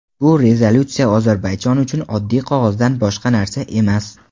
bu rezolyutsiya Ozarbayjon uchun oddiy qog‘ozdan boshqa narsa emas.